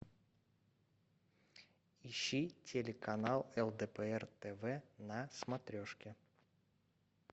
ищи телеканал лдпр тв на смотрешке